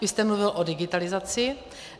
Vy jste mluvil o digitalizaci.